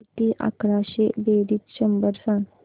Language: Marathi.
किती अकराशे बेरीज शंभर सांग